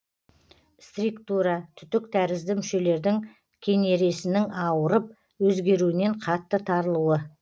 стриктура түтік тәрізді мүшелердің кенересінің ауырып өзгеруінен қатты тарылуы